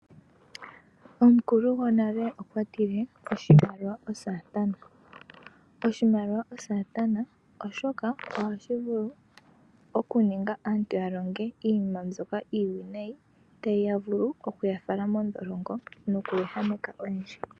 Omukulu gonale okwa tile oshimaliwa osatana. Oshimaliwa osatana oshoka ohashi vulu okuninga aamtu ya longe iinima mbyoka iiwinayi noku ehameka oyendji.